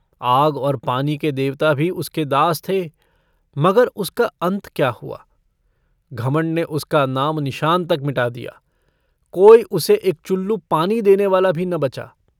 आग और पानी के देवता भी उसके दास थे। मगर उसका अन्त क्या हुआ? घमण्ड ने उसका नामनिशान तक मिटा दिया। कोई उसे एक चुल्लू पानी देने वाला भी न बचा।